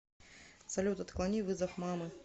салют отклони вызов мамы